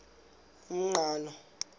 umqhano